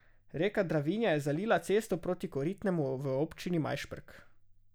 Reka Dravinja je zalila cesto proti Koritnemu v občini Majšperk.